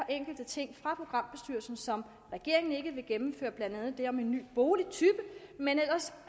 enkelte ting fra programbestyrelsen som regeringen ikke vil gennemføre blandt andet det om en ny boligtype men ellers